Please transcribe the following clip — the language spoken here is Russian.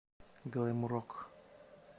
глэм рок